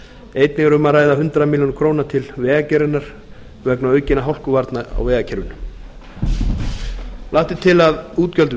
einnig er um að ræða hundrað milljónir króna til vegagerðarinnar vegna aukinna hálkuvarna á vegakerfinu lagt er til að útgjöld